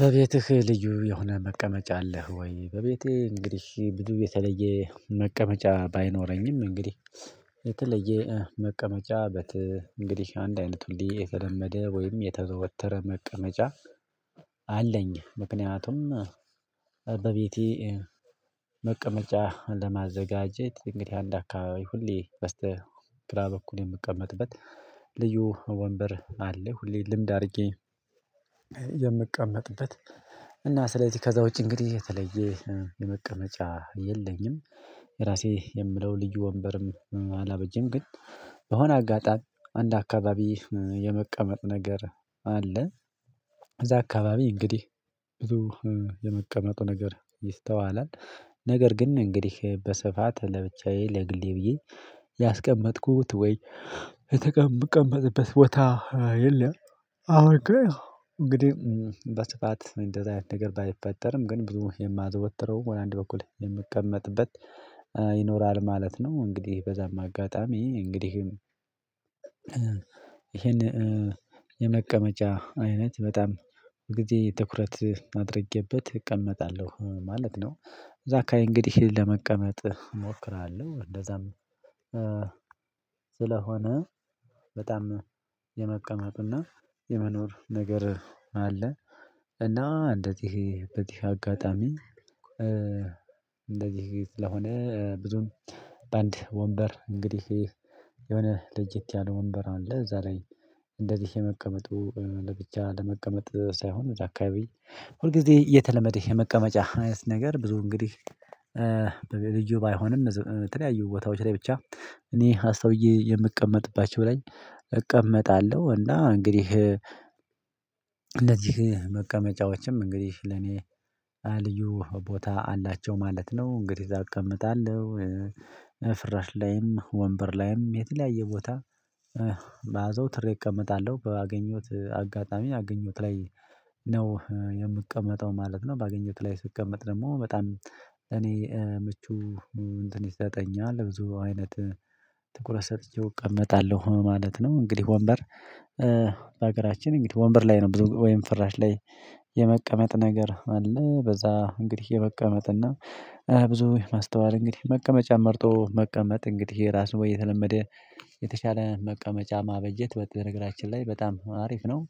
በቤትህ ልዩ የሆነ መቀመጫ አለህ ወይ? በቤቴ እንግዲህ ብዙም የተለየ መቀመጫ ባይኖረኝም እንግዲህ የተለየ መቀመጫ እንግዲህ አንድ አይነት እንልዲ የተለመደ ወይም የተዘወተረ መቀመጫ አለኝ። ምክንያቱም በቤቴ መቀመጫ ለማዘጋጀት እንግዲህ አንድ አካባቢ ሁሌ በስተ ግራ በኩል የምቀመጥበት ልዩ ወንበር አለ። ሁሌ ልምድ አድርጌ የምቀመጥበት እና ስለዚህ ከዛ ውጪ እንግዲህ የተለየ የመቀመጫ የለኝም። የራሴ የምለው ልዩ ወንበርም አላበጀም። ግን በሆነ አጋጣሚ አንድ አካባቢ የመቀመጥ ነገር አለ። እዛ አካባቢ እንግዲህ ብዙ የመቀመጡ ነገር ይስተዋላል። ነገር ግን እንግዲህ በስፋት ለብቻዬ ለግሌ ብዬ ያስቀመጥኩት ወይ የተቀመ ምቀመጥበት ቦታ የለም። አሁን እንግዲህ በስፋት እንደዚህ አይነት ነገር ባይፈጠርም ግን ብዙ የማዘወትረው ወይ አንድ በኩል የምቀመጥበት ይኖራል ማለት ነው። እንግዲህ በዛም አጋጣሚ እንግዲህ ይሄን የመቀመጫ አይነት በጣም ጊዜ ትኩረት አድርጌበት እቀመጣለሁ ማለት ነው። እዛ አካባቢ እንግዲህ ለመቀመጥ እሞክራለሁ እንደዛም ስለሆነ በጣም የመቀመጥና የመኖር ነገር አለ። እና እንዴት በዚህ አጋጣሚ እንደዚህ ስለሆነ ብዙም በአንድ ወንበር እንግዲህ የሆነ ለየት ያለ ወንበር አለ። እዛ ላይ እንደዚህ የመቀመጡ ለብቻ ለመቀመጥ ሳይሆን እዛ አካባቢ ሁል ጊዜ የተለመደ የመቀመጫ አይነት ነገር ብዙ እንግዲህ ሪልጅን ባይሆንም ያየሁ ቦታዎች ላይ ብቻ እኔ አስታውዬ የምቀመጥባቸው ልይ እቀመጣለሁ። እና እንግዲህ እንደዚህ መቀመጫዎችም እንግዲህ ለኔ ልዩ ቦታ አላቸው ማለት ነው። እንግዲህ እዛ እቀመጣለሁ ፍራሽ ላይም ወንበር ላይም የተለያየ ቦታ በአዘውትሬ እቀመጣለሁ በአገኘሁት አጋጣሚ አገኘሁት ላይ ነው የምቀመጠው ማለት ነው። ባገኘሁት ላይ ስቀመጥ ደግሞ በጣም እኔ ምቹ እንትን ይዘጠኛል ብዙ አይነት ትኩረት ሰጥቼው እቀመጣለሁ ማለት ነው። እንግዲህ ወንበር በሀገራችን ወንበር ላይ ነው ብዙ ወይም ፍራሽ ላይ የመቀመጥ ነገር አለ በዛ እንግዲህ የመቀመጥ እና ብዙ ማስተዋል እንግዲህ መቀመጫን መርጦ መቀመጥ እንግዲህ የራሱ ወይ የተለመደ የተሻለ መቀመጫ ማበጀት እነገራችን ላይ በጣም አሪፍ ነው።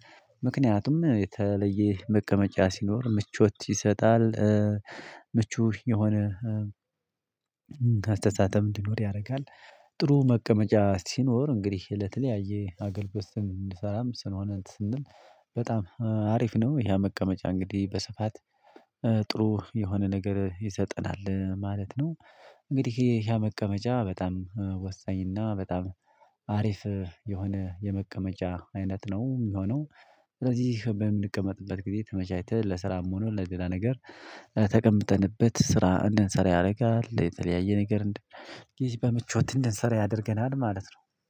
ምክንያቱም የተለየ መቀመጫ ሲኖር ምቾት ይሰጣል። ምቹ የሆነ አስተሳተም እንዲኖር ያደርጋል። ጥሩ መቀመጫ ሲኖር እንግዲህ ለተለያየ አገልግሎት እንድሰራም ስንሆነት ስንል በጣም አሪፍ ነው። ይሄ መቀመጫ እንግዲህ በስፋት ጥሩ የሆነ ነገር ይሰጠናል ማለት ነው። እንግዲህ ይሄ መቀመጫ በጣም ወሳኝና በጣም አሪፍ የሆነ የመቀመጫ አይነት ነው የሚሆነው። ስለዚህ በምንቀመጥበት ጊዜ ተመቻችተን ለስራም ሆኖ ለሌላ ነገር ተቀምጠንበት ስራ እንድንሰራ ያደርጋል። የተለያየ ነገር ጊዜ በምቾት እንድንሰራ ያደርገናል ማለት ነው።